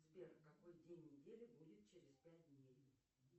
сбер какой день недели будет через пять дней